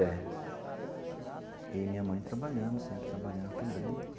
É. E minha mãe trabalhando, sempre trabalhando também.